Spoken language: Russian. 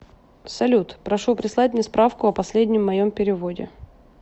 салют прошу прислать мне справку о последнем моем переводе